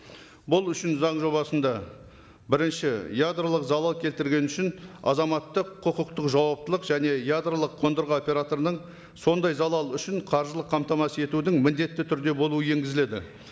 бұл үшін заң жобасында бірінші ядролық залал келтірген үшін азаматтық құқықтық жауаптылық және ядролық қондырғы операторының сондай залал үшін қаржылық қамтамасыз етудің міндетті түрде болуы енгізіледі